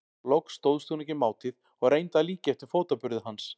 Loks stóðst hún ekki mátið og reyndi að líkja eftir fótaburði hans.